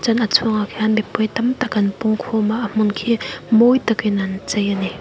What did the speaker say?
chuan a chungah khian mipui tam tak an pung khawm a hmun khi mawi takin an chei a ni.